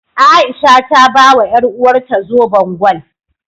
A'isha ta bawa ƴaruwarta zoben gwal.